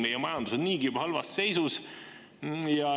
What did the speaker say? Meie majandus on niigi juba halvas seisus.